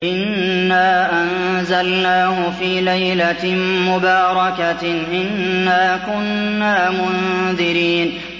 إِنَّا أَنزَلْنَاهُ فِي لَيْلَةٍ مُّبَارَكَةٍ ۚ إِنَّا كُنَّا مُنذِرِينَ